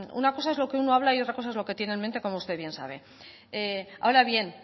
una cosa es lo que uno habla y otra cosa es lo que tiene en mente como usted bien sabe ahora bien